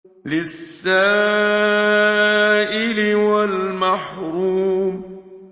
لِّلسَّائِلِ وَالْمَحْرُومِ